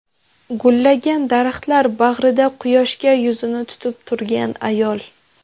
Gullagan daraxtlar bag‘rida quyoshga yuzini tutib turgan ayol.